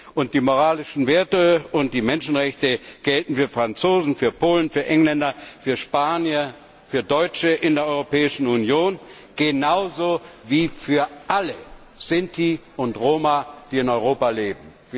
Und die moralischen Werte und die Menschenrechte gelten für Franzosen, für Polen, für Engländer, für Spanier, für Deutsche in der Europäischen Union genauso wie für alle Sinti und Roma, die in Europa leben.